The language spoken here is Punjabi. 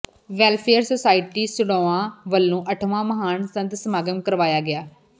ਵੈਲਫੇਅਰ ਸੁਸਾਇਟੀ ਸੜੋਆ ਵੱਲੋ ਅੱਠਵਾਂ ਮਹਾਨ ਸੰਤ ਸਮਾਗਮ ਕਰਵਾਇਆ ਗਿਆ